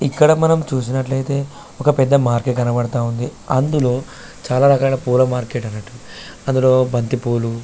ఇక్కడ మనము చూసినట్లు ఐతే ఒక పెద్ద మార్కెట్ కనబడతావుంది అందులో చాల రకాలైన పూల మార్కెట్ అన్నట్టు అందులో బంతి పూలు --